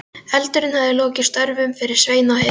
Eldurinn hefur lokið störfum fyrir Svein á heiðinni.